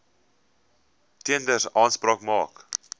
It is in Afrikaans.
tenders aanspraak maak